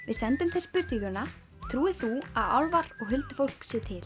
við sendum þeim spurninguna trúir þú að álfar og huldufólk sé til